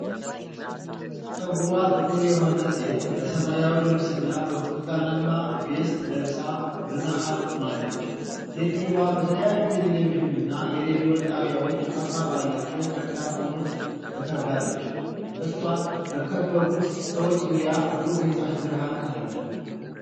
ፀጉሯ ጥቁር የሆነ ሴት በሰማያዊ ልብስና በብርቱካናማ ቬስት ለብሳ በመሃል ቆማለች። ሴትዮዋ በተለያዩ የቴሌቪዥንና የሬዲዮ ጣቢያዎች አርማ ባላቸው ማይክራፎኖች ተከባለች። እሷን በከበቡት ሰዎች ዙሪያ ብሩህ የፀሀይ ብርሃን አለ።